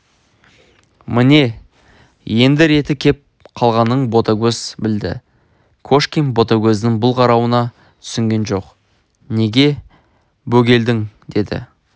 міне енді реті кеп қалғанын ботагөз білді кошкин ботагөздің бұл қарауына түсінген жоқ неге бөгелдің деді